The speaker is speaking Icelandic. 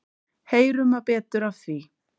Heyrum betur af því.